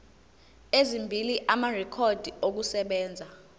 ezimbili amarekhodi okusebenza